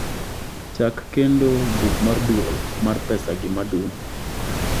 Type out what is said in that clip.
chak kendo buk mar duol mar pesagi madum